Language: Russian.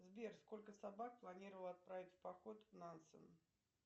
сбер сколько собак планировал отправить в поход нансен